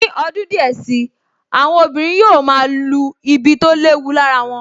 Ní ọdún díẹ̀ sí i, àwọn obìnrin yóò máa lu ibi tó léwu lára wọn